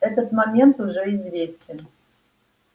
этот момент уже известен